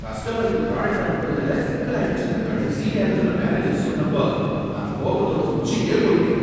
கஸ்டமருக்கு புராடக்ட்ட அனுப்புறதுல சிக்கலாயிடுசினு கடைசி நேரத்தில மேனேஜர் சொன்னப்போ நான் கோபத்தோட உச்சிக்கே போய்ட்டேன்.